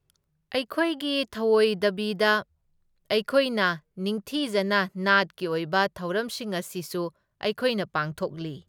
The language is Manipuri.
ꯑꯩꯈꯣꯏꯒꯤ ꯊꯧꯑꯣꯏꯗꯕꯤꯗ ꯑꯩꯈꯣꯏꯅ ꯅꯤꯡꯊꯤꯖꯅ ꯅꯥꯠꯀꯤ ꯑꯣꯏꯕ ꯊꯧꯔꯝꯁꯤꯡ ꯑꯁꯤꯁꯨ ꯑꯩꯈꯣꯏꯅ ꯄꯥꯡꯊꯣꯛꯂꯤ꯫